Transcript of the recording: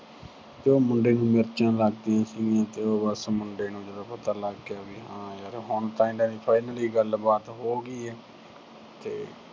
ਤੇ ਉਹ ਮੁੰਡੇ ਨੂੰ ਮਿਰਚਾਂ ਲੱਗਦੀਆਂ ਸੀਗੀਆਂ ਤੇ ਉਹ ਬਸ ਮੁੰਡੇ ਨੂੰ ਜਦੋਂ ਪਤਾ ਲੱਗ ਗਿਆ ਹਾਂ ਹੁਣ ਤਾਂ ਇਹਨਾਂ ਦੀ finally ਗੱਲਬਾਤ ਹੋ ਗਈ ਐ ਤੇ